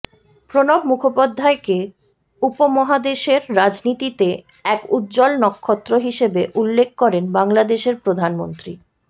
প্রণব মুখোপাধ্যায়কে উপমহাদেশের রাজনীতিতে এক উজ্জ্বল নক্ষত্র হিসেবে উল্লেখ করেন বাংলাদেশের প্রধানমন্ত্রী